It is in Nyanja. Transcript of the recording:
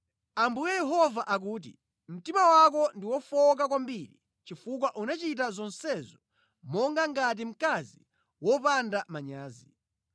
“ ‘Ambuye Yehova akuti: Mtima wako ndi wofowoka kwambiri chifukwa unachita zonsezo monga ngati mkazi wopanga manyazi.